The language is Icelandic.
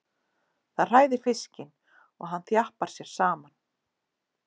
Það hræðir fiskinn og hann þjappar sér saman.